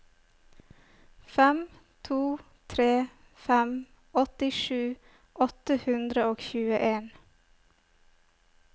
fem to tre fem åttisju åtte hundre og tjueen